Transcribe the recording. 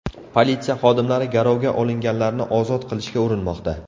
Politsiya xodimlari garovga olinganlarni ozod qilishga urinmoqda.